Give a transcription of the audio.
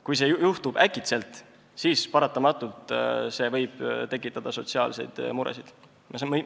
Kui see juhtub äkitselt, siis võib see paratamatult tekitada sotsiaalseid muresid.